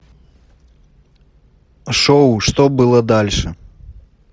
шоу что было дальше